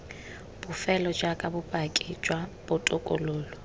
bofelo jaaka bopaki jwa botokololo